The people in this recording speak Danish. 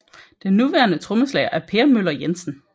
Den nuværende trommeslager er Per Möller Jensen